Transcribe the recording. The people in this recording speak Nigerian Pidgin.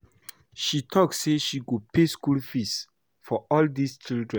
She talk say she go pay school fees for all dis children